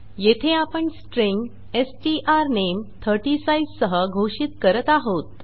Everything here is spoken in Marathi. येथे आपण स्ट्रिँग स्ट्रानेम 30 साइज़ सह घोषित करत आहोत